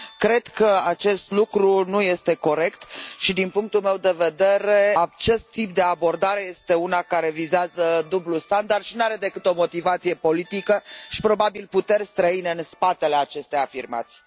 Cred că acest lucru nu este corect și, din punctul meu de vedere, acest tip de abordare este una care vizează dublul standard și nu are decât o motivație politică și, probabil, puteri străine în spatele aceste afirmații.